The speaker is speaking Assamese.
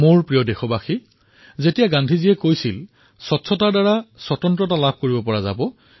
মোৰ মৰমৰ দেশবাসীসকল যেতিয়া গান্ধীজীয়ে কৈছিল যে পৰিষ্কাৰ হৈ থাকিলে স্বতন্ত্ৰতা পাবাই